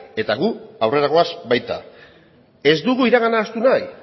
eta gu aurrera goaz baita ez dugu iragana ahaztu nahi